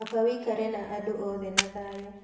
Kaba wikare na andũ othe na thayũ